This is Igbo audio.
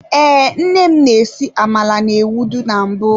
Ee, nne m na-esi amala na-ewedu na mbụ.